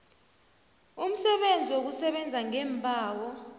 umsebenzi wokusebenza ngeembawo